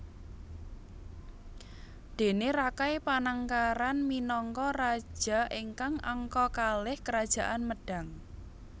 Déne Rakai Panangkaran minangka raja ingkang angka kalih Kerajaan Medang